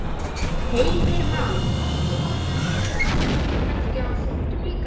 Heimir Már: Þolinmæði ykkar ráðherranna kannski á þrotum líka?